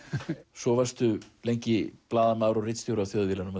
svo varstu lengi blaðamaður og ritstjóri á Þjóðviljanum